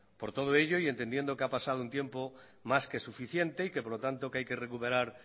por todo ello y entendiendo que ha pasado un tiempo más que suficiente y que por lo tanto hay que recuperar